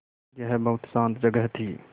यह बहुत शान्त जगह थी